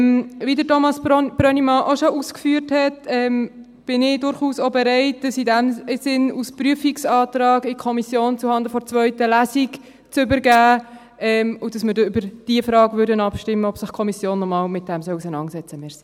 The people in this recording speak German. Wie Thomas Brönnimann auch schon ausgeführt hat, bin ich durchaus auch bereit, das als Prüfungsantrag zuhanden der zweiten Lesung in die Kommission zu übergeben, sodass wir über die Frage abstimmen würden, ob sich die Kommission noch einmal damit auseinandersetzen soll.